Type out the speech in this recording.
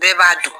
Bɛɛ b'a dun